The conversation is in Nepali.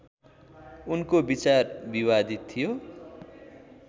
उनको विचार विवादित थियो